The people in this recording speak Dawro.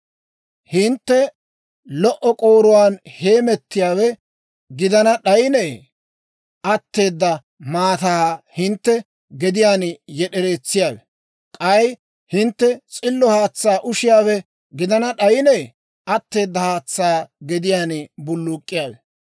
Hintte lo"o k'ooruwaan heemettiyaawe gidana d'ayinee, atteeda maataa hintte gediyaan yed'ereetsiyaawe? K'ay hintte s'illo haatsaa ushiyaawe gidana d'ayinee, atteeda haatsaa gediyaan bulluk'k'iyaawe?